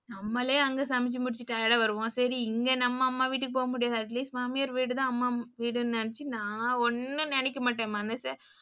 நம்மாலே அங்க சமைச்சு முடிச்சுட்டு tired ஆ வருவோம். சரி இங்க நம்ம அம்மா வீட்டுக்கு போ முடியாது atleast மாமியார் வீடுதான் அம்மா வீடுன்னு நினச்சு நா ஒன்னும் நினைக்க மாட்டேன் மனசே,